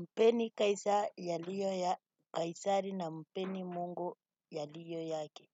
Mpeni kaisari yaliyo ya kaisari na mpeni Mungu ya lliyo yake.